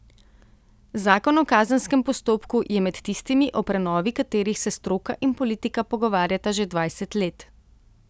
Zakon o kazenskem postopku je med tistimi, o prenovi katerih se stroka in politika pogovarjata že dvajset let.